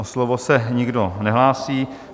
O slovo se nikdo nehlásí.